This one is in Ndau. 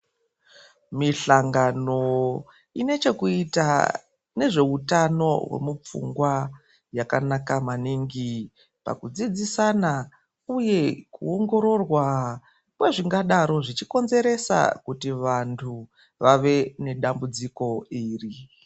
Muhlangano inochekuita nezveutano hwemupfungwa yakanaka maningi pakudzidzisana uye kuongororwa kwezvingadaro zvichikonzeresa kuti vantu vave nedambudziko iri.